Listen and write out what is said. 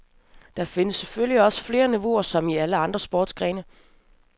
Der findes selvfølgelig også flere niveauer som i alle andre sportsgrene.